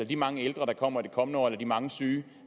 de mange ældre der kommer i de kommende år eller de mange syge